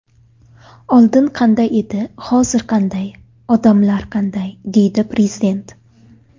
Oldin qanday edi, hozir qanday, odamlar qanday”, deydi Prezident.